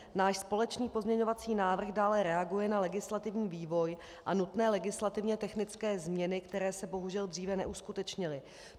Náš společný pozměňovací návrh dále reaguje na legislativní vývoj a nutné legislativně technické změny, které se bohužel dříve neuskutečnily.